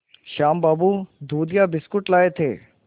श्याम बाबू दूधिया बिस्कुट लाए थे